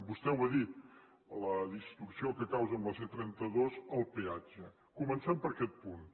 vostè ho ha dit la distorsió que causa en la c trenta dos el peatge comencem per aquest punt